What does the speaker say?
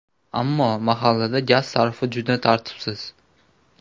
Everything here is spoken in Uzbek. Ammo mahallada gaz sarfi juda tartibsiz.